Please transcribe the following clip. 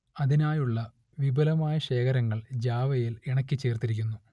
അതിനായുള്ള വിപുലമായ ശേഖരങ്ങൾ ജാവയിൽ ഇണക്കിച്ചേർത്തിരിക്കുന്നു